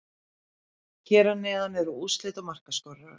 Hér að neðan eru úrslit og markaskorarar.